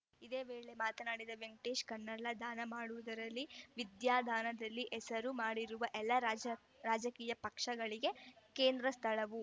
ಇದೇ ವೇಳೆ ಮಾತನಾಡಿದ ವೆಂಕಟೇಶ ಕಣ್ಣಾಳರ್‌ ದಾನ ಮಾಡುವುದರಲ್ಲಿ ವಿದ್ಯಾದಾನದಲ್ಲಿ ಹೆಸರು ಮಾಡಿರುವ ಎಲ್ಲಾ ರಾಜರಾಜಕೀಯ ಪಕ್ಷಗಳಿಗೂ ಕೇಂದ್ರ ಸ್ಥಳವು